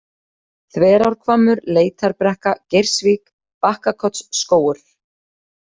Þverárhvammur, Leitarbrekka, Geirsvík, Bakkakotsskógur